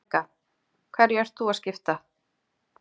Helga: Hverju ert þú að skipta?